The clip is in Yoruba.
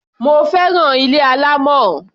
Mo fẹ́ràn ilé alámọ̀.